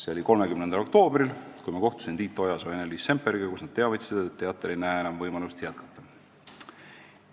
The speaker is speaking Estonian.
" See oli 30. oktoobril, kui ma kohtusin Tiit Ojasoo ja Ene-Liis Semperiga ja nad teavitasid mind, et teater ei näe enam võimalust jätkata.